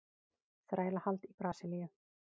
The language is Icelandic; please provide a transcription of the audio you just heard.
Þrælahald í Brasilíu.